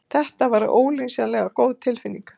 Þetta var ólýsanlega góð tilfinning.